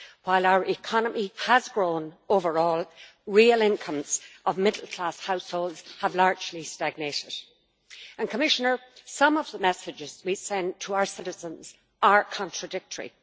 While our economy has grown overall, real incomes of middle class households have largely stagnated. Commissioner, some of the messages to be sent to our citizens are contradictory.